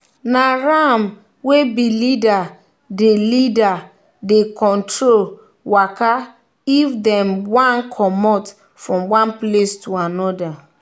na ram wey be leader dey leader dey control waka if them one commot from one place to another.